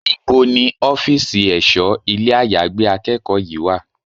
Níbo ni ọ́fíìsì ẹ̀ṣọ́ ilé àyágbé akẹ́kọ̀ọ́ yí wà?